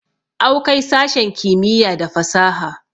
awkai sashen kimiyya da fasaha